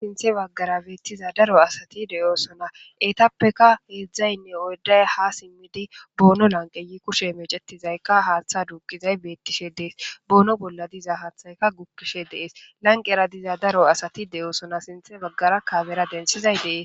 sinthe baggara beettiza daro asati deyoosona etappeka heedzdzaynne oyday ha simmidi boono lanqeyi kushe mecetizayka haaththa duuqizay beettishe dees boono bolla diza haathayka gukkishe dees lanqera diza daro asati de'osona sinthe baggara kamera denthizay de'ees